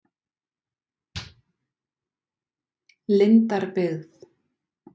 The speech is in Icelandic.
Lindarbyggð